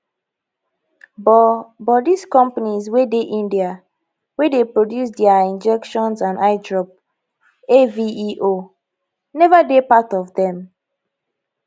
but but dis companies wey dey india wey dey produce dia injections and eye drops aveo neva dey part of dem